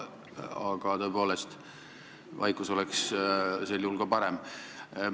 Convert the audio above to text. Aga tõepoolest, vaikus oleks sel juhul parem.